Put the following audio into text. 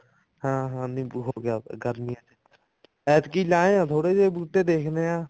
ਹਾਂ ਹਾਂ ਨਿੰਬੂ ਹੋਗਿਆ ਤਾ ਗਰਮੀ ਐਤਕੀ ਲਾਏ ਆਂ ਥੋੜੇ ਜੇ ਬੁੱਟੇ ਦੇਖਦੇ ਹਾਂ